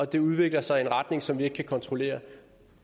det udvikler sig i en retning som vi ikke kan kontrollere